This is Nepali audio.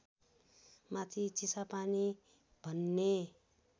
माथि चिसापानी भन्ने